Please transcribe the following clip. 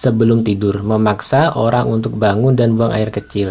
sebelum tidur memaksa orang untuk bangun dan buang air kecil